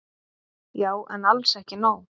Já en alls ekki nóg.